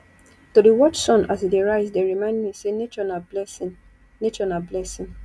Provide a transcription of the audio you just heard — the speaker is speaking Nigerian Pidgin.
to dey watch sun as e dey rise dey remind me sey nature na blessing nature na blessing